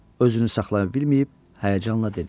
Özünü saxlaya bilməyib həyəcanla dedi: